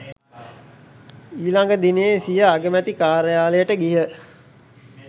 ඊළග දිනයේ සිය අගමැති කාර්යාලයට ගිය